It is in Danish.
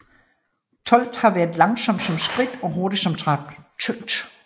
Tölt kan være langsom som skridt og hurtig som trav